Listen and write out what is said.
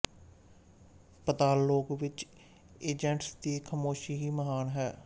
ਪਾਤਾਲ ਲੋਕ ਵਿੱਚ ਏਜੈਂਟਸ ਦੀ ਖਾਮੋਸ਼ੀ ਹੀ ਮਹਾਨ ਹੈ